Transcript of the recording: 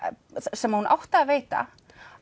sem hún átti að veita